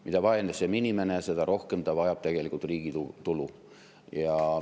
Mida vaesem on inimene, seda rohkem ta vajab tegelikult riigi tulu.